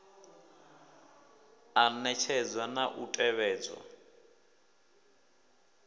a ṋetshedzwa na u tevhedzwa